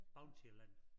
Bountyland